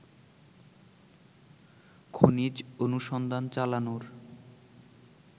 খনিজ অনুসন্ধান চালানোর